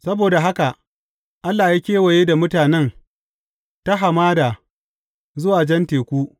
Saboda haka Allah ya kewaye da mutanen ta hamada zuwa Jan Teku.